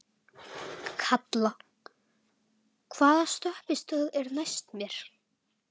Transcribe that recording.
Kalla, hvaða stoppistöð er næst mér?